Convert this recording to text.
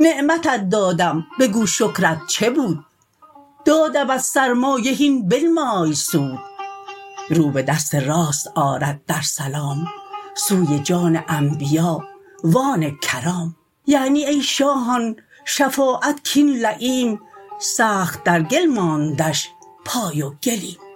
نعمتت دادم بگو شکرت چه بود دادمت سرمایه هین بنمای سود رو به دست راست آرد در سلام سوی جان انبیا و آن کرام یعنی ای شاهان شفاعت کین لییم سخت در گل ماندش پای و گلیم